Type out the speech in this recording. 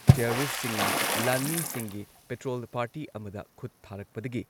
ꯇꯦꯔꯣꯔꯤꯁꯠꯁꯤꯡꯅ ꯂꯥꯟꯃꯤꯁꯤꯡꯒꯤ petrol party ꯑꯃꯗ ꯈꯨꯠ ꯊꯥꯔꯛꯄꯗꯒꯤ